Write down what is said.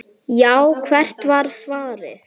Já, hvert var svarið?